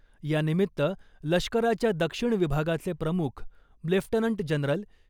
यानिमित्त लष्कराच्या दक्षिण विभागाचे प्रमुख लेफ्टनंट जनरल